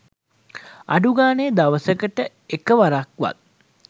අඩුගානෙ දවසකට එක වරක්වත්